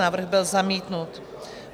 Návrh byl zamítnut.